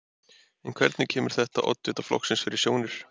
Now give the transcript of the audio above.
En hvernig kemur þetta oddvita flokksins fyrir sjónir?